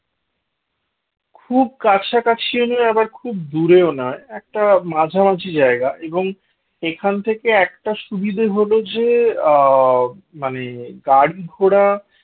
খুব কাছাকাছি ও না আবার খুব দূরেও না একটা মাঝামাঝি জায়গা এবং এখান থেকে একটা সুবিধা হল যে আ মানে গাড়ি-ঘোড়া